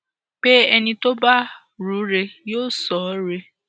pé ẹni tó bá rù ú rẹ yóò sọ ọ rẹ